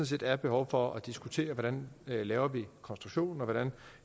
set er behov for at diskutere hvordan vi laver konstruktionen hvordan